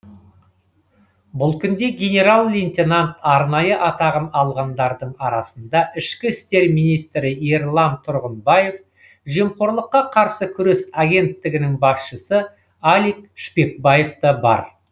бұл күнде генерал лейтенант арнайы атағын алғандардың арасында ішкі істер министрі ерлан тұрғынбаев жемқорлыққа қарсы күрес агенттігінің басшысы алик шпекбаев та бар